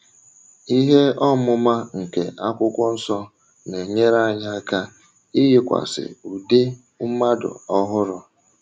Ihe ọmụma nke Akwụkwọ Nsọ na - enyere anyị aka ‘ iyikwasị ụdị mmadụ ọhụrụ. ’’